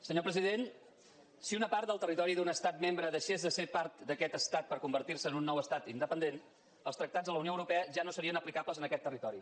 senyor president si una part d’un territori d’un estat membre deixés de ser part d’aquest estat per convertir se en un nou estat independent els tractats de la unió europea ja no serien aplicables en aquest territori